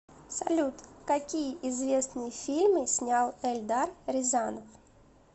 салют какие известные фильмы снял эльдар рязанов